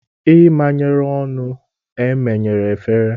E menyere ọnụ, e menyere efere